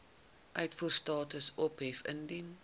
uitvoerstatus ophef indien